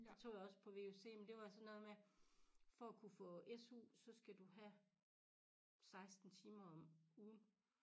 Det tog jeg også på vuc men det var sådan noget med for at kunne få SU så skal du have 16 timer om ugen